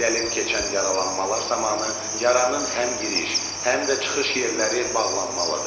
Dəlib keçən yaralanmalar zamanı yaranın həm giriş, həm də çıxış yerləri bağlanmalıdır.